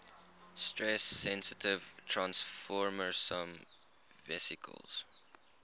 stress sensitive transfersome vesicles